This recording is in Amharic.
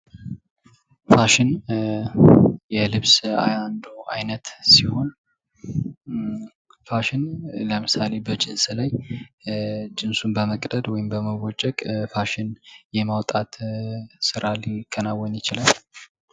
ፋሽን የልብስ አንዱ አይነት ሲሆን ፋሽን ለምሳሌ በጂንስ ላይ ጅንሱን በመቅደድ ወይም በመቦጨቅ ፋሽን የማውጣት ስራ ሊከናወን ይችላል።